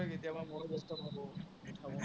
কেতিয়াবা ময়ো